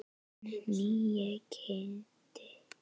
En nýi Kiddi.